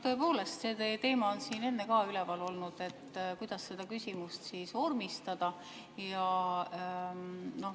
Tõepoolest, see teema on siin enne ka üleval olnud, et kuidas seda küsimust vormistada.